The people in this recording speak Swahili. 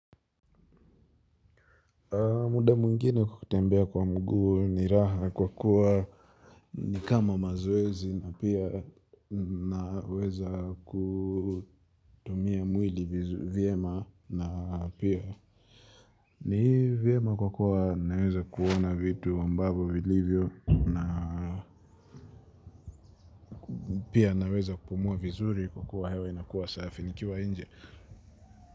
Muda mwingine kutembea kwa mguu ni raha kwa kuwa ni kama mazowezi na pia naweza kutumia mwili vyema na pia ni vyema kwa kuwa naweza kuona vitu ambavyo vilivyo na pia naweza kupumua vizuri kwa kuwa hewa inakuwa safi nikiwa nje.